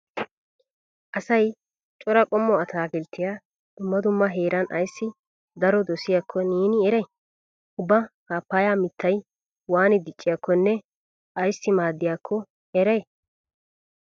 Asay cora qommo ataakilttiya dumma dumma heeran ayssi daro dosiyakko neeni eray? Ubba paappaya mittay waani dicciyakkonne ayssi maaddiyakko eray?